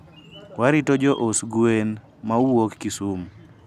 warito jous gwen ma wuok kisumu